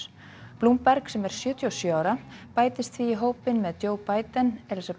Bloomberg sem er sjötíu og sjö ára bætist því í hópinn með Joe Biden Elizabeth